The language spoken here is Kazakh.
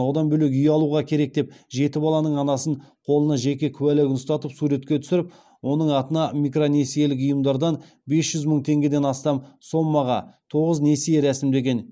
одан бөлек үй алуға керек деп жеті баланың анасын қолына жеке куәлігін ұстатып суретке түсіріп оның атына микронесиелік ұйымдардан бес жүз мың теңгеден астам сомаға тоғыз несие рәсімдеген